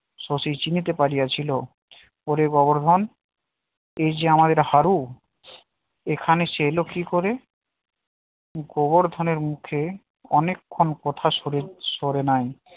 শশী চিনতে পারিয়া ছিল ওরে গোবর্ধন এই যে আমাদের হারু এখানে সে এলো কি করে গোবর্ধনের মুখে অনেকক্ষণ কথা সরে সরে নাই